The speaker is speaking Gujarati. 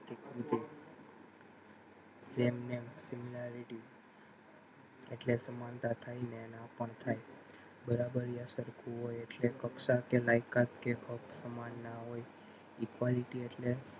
જેમ જેમ તે એમનેમ similarity એટલે સમાનતા થાય ને નાં પણ થાય બરાબરીય સરખું હોય એટલે કક્ષા કે લાયકાત કે હક સમાન ના હોય equality એટલે